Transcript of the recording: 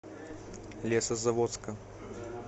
лесозаводска